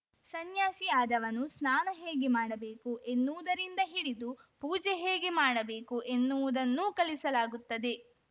ಸನ್ಯಾಸಿ ಆದವನು ಸ್ನಾನ ಹೇಗೆ ಮಾಡಬೇಕು ಎನ್ನುವುದರಿಂದ ಹಿಡಿದು ಪೂಜೆ ಹೇಗೆ ಮಾಡಬೇಕು ಎನ್ನುವುದನ್ನೂ ಕಲಿಸಲಾಗುತ್ತದೆ